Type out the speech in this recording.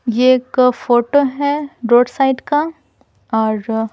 ये एक फोटो है रोड साइड का और--